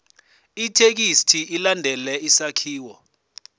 ithekisthi ilandele isakhiwo